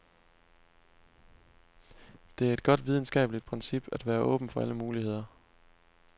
Det er et godt videnskabeligt princip at være åben for alle muligheder.